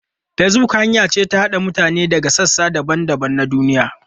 Facebook hanya ce ta haɗa mutane daga sassa daban-daban na duniya.